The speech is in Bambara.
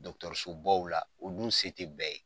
la u dun se tɛ bɛɛ ye.